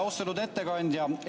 Austatud ettekandja!